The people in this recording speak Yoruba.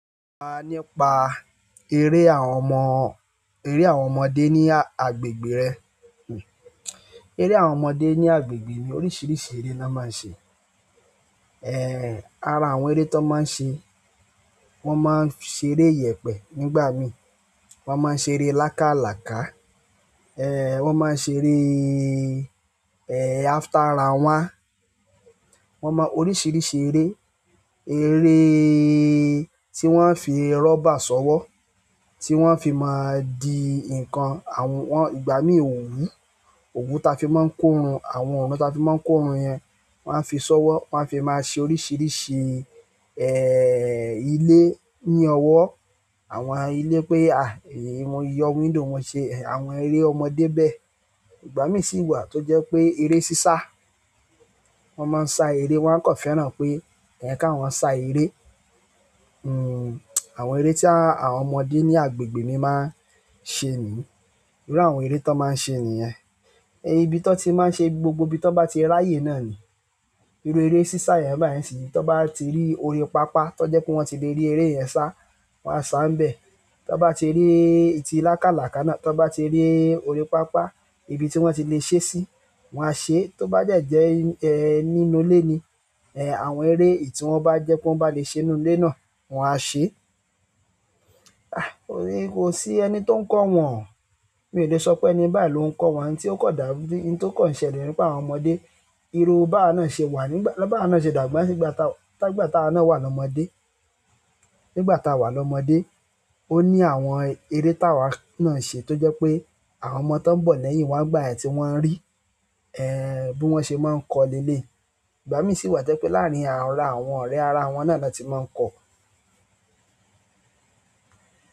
So nípa eré àwọn ọmọ, eré àwọn ọmọdé ní agbègbè rẹ. Eré àwọn ọmọdé ní agbègbè mi oríṣiríṣi eré la máa ń ṣe. Ehn, ara àwọn eré tó máa ń ṣe, wọ́n máa ń ṣe eré ìyẹ̀pẹ̀ nígbà mí, wọ́n máa ń ṣe eré làkáàlàkà, ehn wọ́n máa ń ṣe eré, ehn after round one, wọ́n mọ oríṣiríṣi eré. Ere tí wọ́n á fi rubber ṣọ́wọ́, tí wọ́n á fi máa di nǹkan, àwọn wọn ìgbà mí ò wùú. Òwú ta fi máa ń kórun, àwọn ọ̀run ta fi máa ń kórun yẹn wọ́n á fi ṣọ́wọ́, wọ́n á fi máa ṣe oríṣiríṣi ehn ilé ní ọwọ́. Àwọn ilé pé a ìyọ window wọn ṣe, àwọn eré ọmọdé bẹ. Ìgbà mí sì wà tó jẹ́ pé eré sísá, wọ́n máa ń sá eré wọ́n á kọ fẹ́ràn pé èyàn ká wọ́n sá eré. Hmm àwọn eré tí àwọn ọmọdé ní agbègbè mi máa ń ṣe nìyẹn. Irú àwọn eré tó máa ń ṣe nìyẹn. Ibi tí wọ́n ti máa ń ṣe, gbogbo ibi tó bá ti rí ayé náà ni. Iru ere sisa yen bayi ni isiyin, ti won ba ti ri orí papa toje wípé won ti le ri ere yen sa, won a sa níbẹ̀. Tó bá ti rí ìtí làkáàlàkà náà, tó bá ti rí orí pápá ibi tí wọ́n ti lè ṣe sí, wọ́n á ṣe. Tó bá jẹ́ ẹ nínú ilé ni, ehn àwọn eré èyí tí wọ́n bá jẹ́ pé wọ́n bá lè ṣe nínú ilé náà, wọ́n á ṣe. Ah! O ri ko si ẹni tó ń kọ́ wọn. Mi ò le sọ pé ẹni bẹ́ẹ̀ ló ń kọ́ wọn tí ó kò dà, ohun tó kò ṣẹlẹ̀ nípa àwọn ọmọdé. Irú bá náà ṣe wà nígbà, bá náà ṣe dàgbà sí ìgbà tá, tá ìgbà tá a náà wà lọ́mọdé. Nígbà tá a wà lọ́mọdé, ó ní àwọn eré táa wa náà ṣe tó jẹ́ pé àwọn ọmọ tó ń bọ̀ lẹ́yìn wa gbà ẹ́ tí wọ́n ń rí, ehn bí wọ́n ṣe máa ń kọ́ lé lé. Ìgbà mí sì wà jẹ́ pé láàrin ara àwọn ọ̀rẹ́ ara wọn náà ni wọ́n ti máa ń kọ̀.